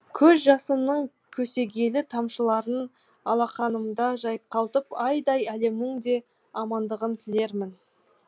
көз жасымның көсегелі тамшыларын алақанымда жайқалтып айдай әлемнің де амандығын тілермін